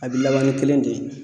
A bi laban ni kelen de ye.